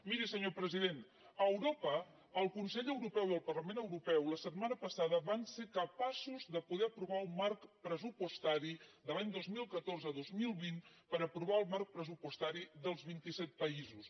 miri senyor president a europa el consell europeu i el parlament europeu la setmana passada van ser capaços de poder aprovar un marc pressupostari de l’any dos mil catorze a dos mil vint per aprovar el marc pressupostari dels vint i set països